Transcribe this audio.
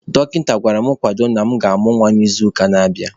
Dọkịta gwara m kwadobe na agam amụ nwa n'izuụka na-abịanụ.